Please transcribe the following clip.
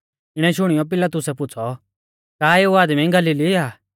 इणै शुणियौ पिलातुसै पुछ़ौ का एऊ आदमी गलीली आ